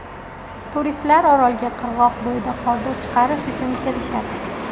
Turistlar orolga qirg‘oq bo‘yida hordiq chiqarish uchun kelishadi.